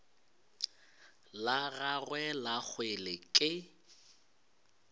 la gagwe la kgwele ke